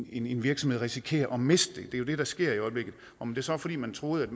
i en virksomhed risikerer at miste det det er det der sker i øjeblikket om det så er fordi man troede at